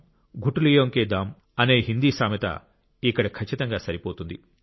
గుఠ్ లియోం కే దామ్ అన్ హిందీ సామెత ఇక్కడ ఖచ్చితంగా సరిపోతుంది